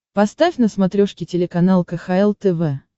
поставь на смотрешке телеканал кхл тв